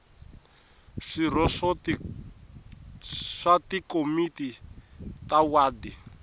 swirho swa tikomiti ta wadi